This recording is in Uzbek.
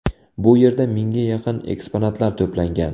Bu yerda mingga yaqin eksponatlar to‘plangan.